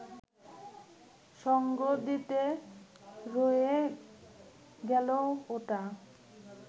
সঙ্গ দিতে রয়ে গেল ওটা